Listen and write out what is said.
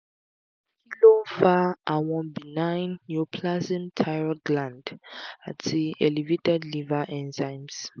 kí ló ń fa àwọn benign neoplasm thyroid gland ati elevated liver enzymes?